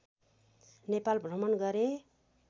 नेपाल भ्रमण गरे